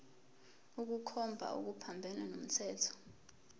ukukhomba okuphambene nomthetho